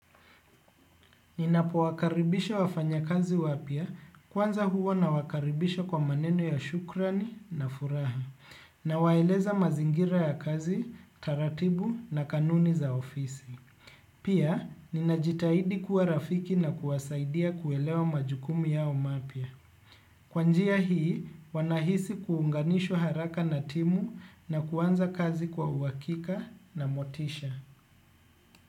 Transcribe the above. Ninapo wakaribisha wafanya kazi wapya kwanza huwa nawakaribisha kwa maneno ya shukrani na furaha nawaeleza mazingira ya kazi taratibu na kanuni za ofisi. Pia ninajitahidi kuwa rafiki na kuwasaidia kuelewa majukumu yao mapya. Kwa njia hii wanahisi kuunganishwa haraka na timu na kuanza kazi kwa uhakika na motisha.